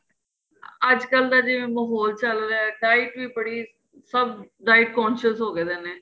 ਅੱਜ ਕੱਲ ਦਾ ਜਿਵੇਂ ਮਾਹੋਲ ਚੱਲ ਰਿਹਾਂ diet ਵੀ ਬੜੀ ਸਭ diet consensus ਹੋ ਗਏ ਨੇ